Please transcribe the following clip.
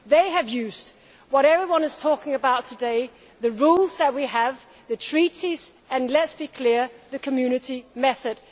They have used what everyone is talking about today, the rules that we have, the Treaties and let us be clear the Community method.